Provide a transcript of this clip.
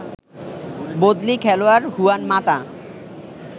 বদলি খেলোয়াড় হুয়ান মাতা